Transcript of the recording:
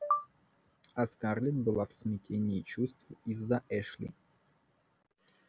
а скарлетт была в смятении чувств из-за эшли